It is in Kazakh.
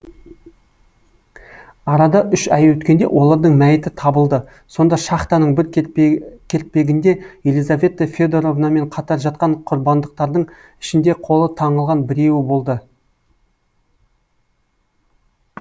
арада үш ай өткенде олардың мәйіті табылды сонда шахтаның бір кертпегінде елизавета федоровнамен қатар жатқан құрбандықтардың ішінде қолы таңылған біреуі болды